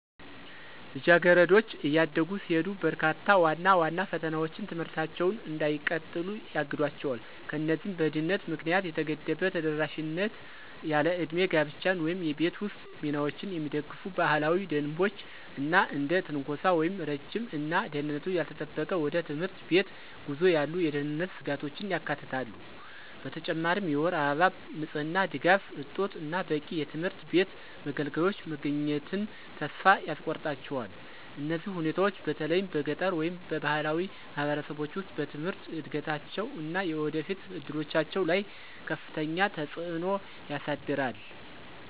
ልጃገረዶች እያደጉ ሲሄዱ፣ በርካታ ዋና ዋና ፈተናዎች ትምህርታቸውን እንዳይቀጥሉ ያግዷቸው። እነዚህም በድህነት ምክንያት የተገደበ ተደራሽነት፣ ያለዕድሜ ጋብቻን ወይም የቤት ውስጥ ሚናዎችን የሚደግፉ ባህላዊ ደንቦች፣ እና እንደ ትንኮሳ ወይም ረጅም እና ደህንነቱ ያልተጠበቀ ወደ ትምህርት ቤት ጉዞ ያሉ የደህንነት ስጋቶችን ያካትታሉ። በተጨማሪም የወር አበባ ንጽህና ድጋፍ እጦት እና በቂ የትምህርት ቤት መገልገያዎች መገኘትን ተስፋ ያስቆርጣቸዋል። እነዚህ ሁኔታዎች፣ በተለይም በገጠር ወይም በባህላዊ ማህበረሰቦች ውስጥ፣ በትምህርት እድገታቸው እና የወደፊት እድሎቻቸው ላይ ከፍተኛ ተጽዕኖ ያሳድራል።